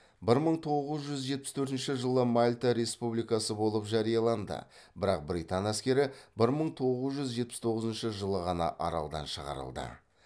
бір мың тоғыз жүз жетпіс төртінші жылы мальта республикасы болып жарияланды бірақ британ әскері бір мың тоғыз жүз жетпіс тоғызыншы жылы ғана аралдан шығарылды